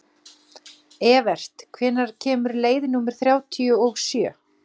Evert, hvenær kemur leið númer þrjátíu og sjö?